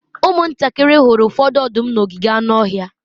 ụmụntakịrị hụrụ ụfọdụ ọdụm n'ogige anụ ọhịa